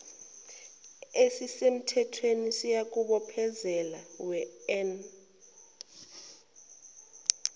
esisemthethweni siyakubophezela wean